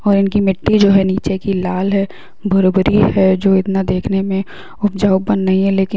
और इनकी मिट्टी जो है नीचे की लाल है भूर-भूरी है जो इतना देखने में उपजाऊ बन गई है लेकिन --